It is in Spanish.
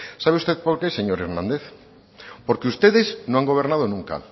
sabe usted por qué señor hernández porque ustedes no han gobernado nunca